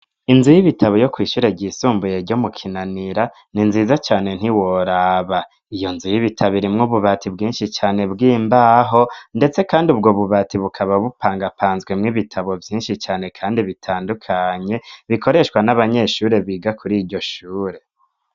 Inzu y'ibitabo yo kw'ishure ry'isumbuye ryo mu kinanira ni nziza cane ntiworaba ,iyo nzu y'ibitabo irimwo ububati bwinshi cane bw'imbaho ndetse kandi ubwo bubati bukaba bupangapanzwe mw'ibitabo vyinshi cane kandi bitandukanye bikoreshwa n'abanyeshure biga kur'iryo shure.